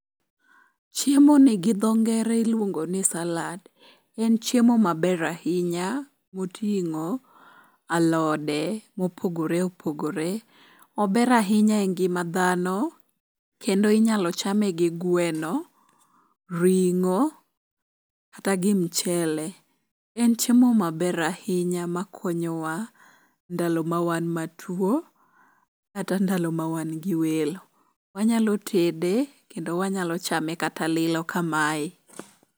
Chiemoni gi dho ngere iluongo ni salad. En chiemo maber ahinya moting'o alode mopogore opogore. Ober ahinya e ngima dhano kendo inyalo chame gi gweno, ring'o kata gi mchele. En chiemo maber ahinya makonyowa ndalo ma wan matwo kata ndalo ma wan gi welo. Wanyalo tede kendo wanyalo chame kata lilo kamae.